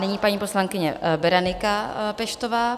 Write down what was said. Nyní paní poslankyně Berenika Peštová.